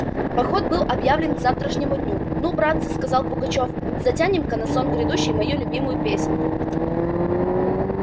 поход был объявлен к завтрашнему дню ну братцы сказал пугачёв затянем-ка на сон грядущий мою любимую песенку